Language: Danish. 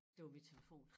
Det var min telefon